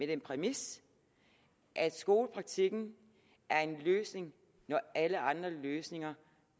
den præmis at skolepraktikken er en løsning når alle andre løsninger